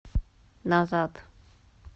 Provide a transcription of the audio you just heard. назад